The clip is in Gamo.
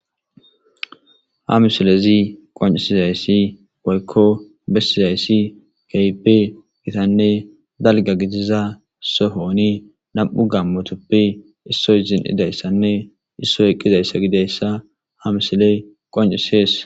Ha misilezi qoncisizayssi boykko bessizayssi keype gitanne dalga gidiza sohoni nam'u gammotoppi issoy zin idayssanne issoy eqqizayssa gidayssa ha misiley qoncisees.